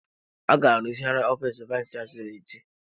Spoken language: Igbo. A ga-arụzigharị ofiis vayis chansilọ echi.